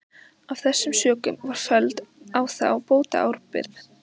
Af þessum sökum var felld á þá bótaábyrgð.